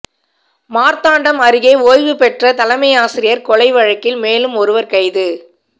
மாா்த்தாண்டம் அருகே ஓய்வு பெற்ற தலைமையாசிரியா் கொலை வழக்கில் மேலும் ஒருவா் கைது